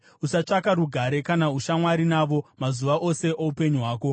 Usatsvaka rugare kana ushamwari navo mazuva ose oupenyu hwako!